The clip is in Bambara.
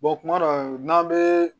kuma dɔ n'an bɛ